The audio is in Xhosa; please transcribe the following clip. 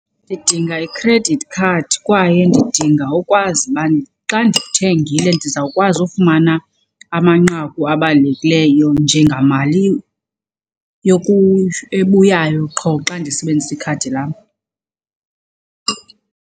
Ndidinga i-credit card kwaye ndidinga ukwazi uba xa ndithengile ndizawukwazi ufumana amanqaku abalulekileyo njengamali ebuyayo qho xa ndisebenzisa ikhadi lam.